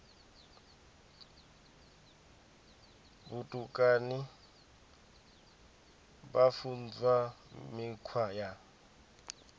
vhutukani vha funzwa mikhwa ya